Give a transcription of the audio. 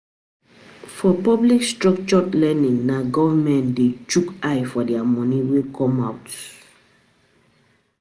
For public structured learning na government de shook eye for di moni wey come out